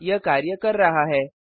हाँ यह कार्य कर रहा है